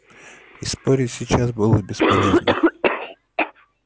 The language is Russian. и спорить сейчас было бесполезно